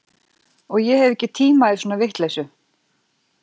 Og ég hef ekki tíma í svona vitleysu